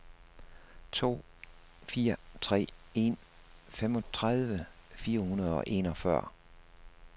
to fire tre en femogtredive fire hundrede og enogfyrre